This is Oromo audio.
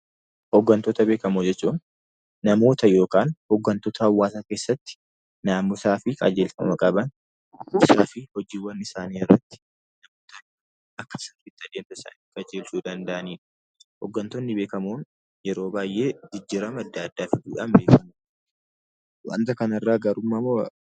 Hooggantoota beekamoo jechuun namoota yookaan tuuta hawaasaa keessatti naamusaa fi qajeelfama qaban akkasumas hojiiwwan isaanii irratti qajeelchuu danda'anidha. Hooggantoonni beekamoon yeroo baayyee jijjiirama addaa addaa fiduun beekamu. Waanta kana irraa gaarummaa moo